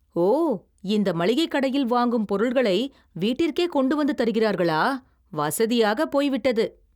ஓ !! இந்த மளிகைக் கடையில் வாங்கும் பொருள்களை வீட்டிற்கே கொண்டு வந்து தருகிறார்களா? வசதியாகப் போய்விட்டது.